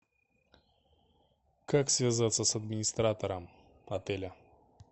как связаться с администратором отеля